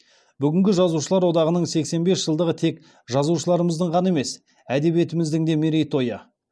бүгінгі жазушылар одағының сексен бес жылдығы тек жазушыларымыздың ғана емес әдебиетіміздің де мерей тойы